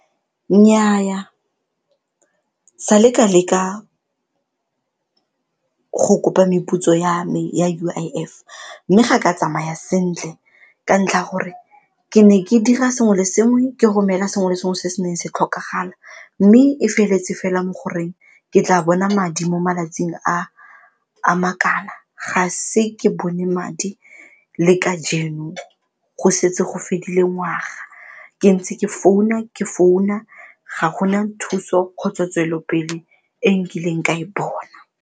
Nnyaa, sa le ka leka go kopa meputso ya me ya U_I_F mme ga ka tsamaya sentle ka ntlha ya gore ke ne ke dira sengwe le sengwe ke romela sengwe le sengwe se se neng se tlhokagala mme e feletse fela mo goreng ke tla bona madi mo malatsing a makana, ga se ke bone madi le kajeno go setse go fedile ngwaga ke ntse ke founa ke founa ga gona thuso kgotsa tswelelopele e nkileng ka e bona.